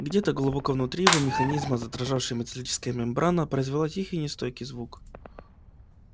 где-то глубоко внутри его механизма задрожавшая металлическая мембрана произвела тихий нестройный звук